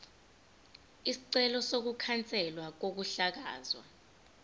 isicelo sokukhanselwa kokuhlakazwa